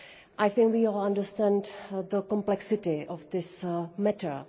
I think we all understand the complexity of this matter.